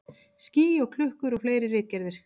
Ský og klukkur og fleiri ritgerðir.